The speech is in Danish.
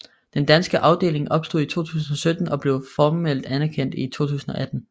Den danske afdeling opstod i 2017 og blev formelt anerkendt i 2018